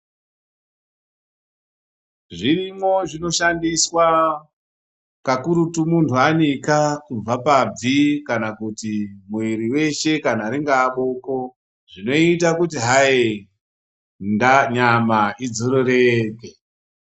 Zvirimwo zvinoshandiswa kakurutu muntu anika kubva pabvi kana kuti mwiri weshe ringaaboko zvinoita kuti hayi nyama idzorereke.